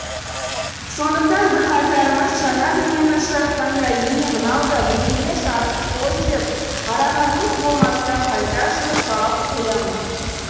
сондықтан бірқатарымыз жаңа дүниені ұшыратқанда е е мынау да бірдеме жазыпты ғой деп қарағанымыз болмаса қайта жылы жауап қоямыз